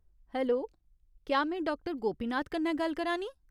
Hello, क्या में doctor Gopinath कन्नै गल्ल करा नीं ?